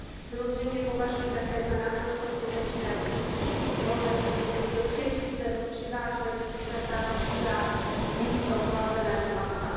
Samozřejmě považuji také za naprosto zbytečné, aby se tisíce kilometrů, tedy do třetích zemí, přivážela zvířata živá místo chlazeného masa.